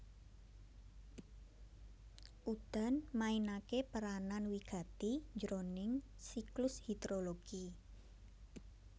Udan mainaké peranan wigati jroning siklus hidrologi